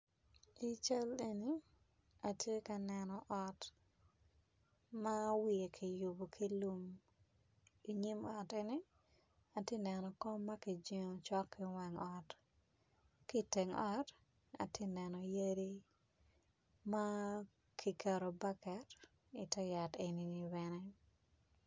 I cal eni atye ka neno ot ma wiye ki yubo ki lum inyim ote atye ka neno kom ma kijengo cok ki wang ot ki teng ot atye ka neno yadi ma kiketo baket ite yat eni bene